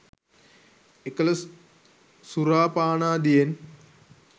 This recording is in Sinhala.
එකල සුරා පානාදියෙන්